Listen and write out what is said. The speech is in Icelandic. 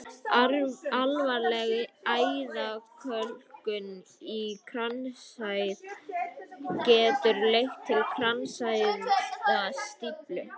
Alvarleg æðakölkun í kransæð getur leitt til kransæðastíflu.